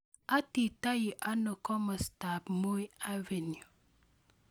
Aititoi anoo komostab moi avenue